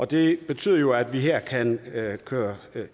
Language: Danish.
det betyder jo at vi her kan køre